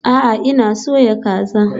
A'a, ina soya kaza